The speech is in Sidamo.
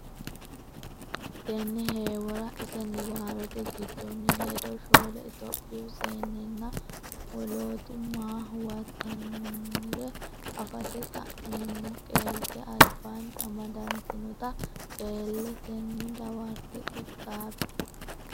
Tenne heewora ise niwaawete giddonni ledo shoole Itophiyu seennenna woloota maa huwaattinoonniro afate xa meemmo qeelte albaanni amadantinota qeellete a nena dawarate qixxaabbe.